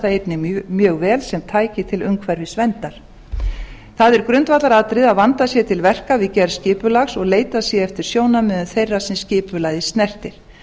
einnig mjög vel sem tæki til umhverfisverndar það er grundvallaratriði að vandað sé til verka við gerð skipulags og leitað sé eftir sjónarmiðum þeirra sem skipulagið snertir